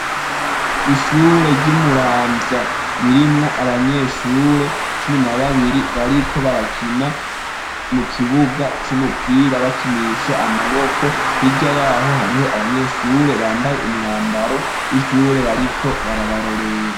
Ishure ry'i Muramvya ririmwo abanyeshure cumi na babiri. Bariko barakina mu kibuga c'umupira, bakinisha amaboko. Hirya y'aho, hariho abanyeshure bambaye umwambaro w'ishure bariko barabarorera.